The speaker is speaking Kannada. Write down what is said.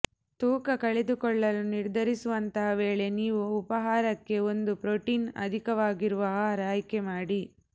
ತೂಕ ಕಳೆದುಕೊಳ್ಳಲು ನಿರ್ಧರಿಸುವಂತಹ ವೇಳೆ ನೀವು ಉಪಾಹಾರಕ್ಕೆ ಒಂದು ಪ್ರೋಟೀನ್ ಅಧಿಕವಾಗಿರುವ ಆಹಾರ ಆಯ್ಕೆ ಮಾಡಿ